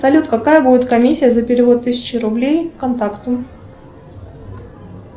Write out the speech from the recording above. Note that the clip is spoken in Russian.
салют какая будет комиссия за перевод тысячи рублей контакту